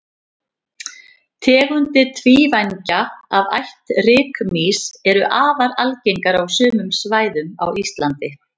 tegundir tvívængja af ætt rykmýs eru afar algengar á sumum svæðum á íslandi